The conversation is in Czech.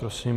Prosím.